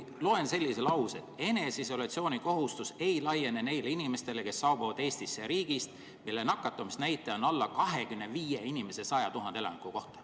Loen sellise lause: "Eneseisolatsiooni kohustus ei laiene neile inimestele, kes saabuvad Eestisse riigist, mille nakatumisnäitaja on alla 25 inimese 100 000 elaniku kohta.